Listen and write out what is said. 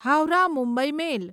Howrah Mumbai મેલ